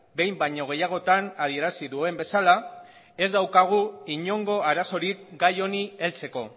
behin baino gehiagotan adierazi duen bezala ez daukagu inongo arazorik gai honi heltzeko